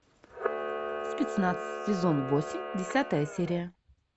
спецназ сезон восемь десятая серия